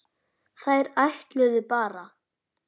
Þeir ætluðu bara.